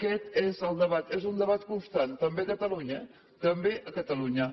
aquest és el debat és un debat constant també a catalunya també a catalunya